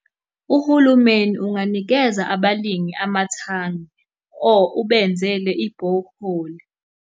Uhulumeni unganikeza abalimi amathangi or ubenzele i-borehole.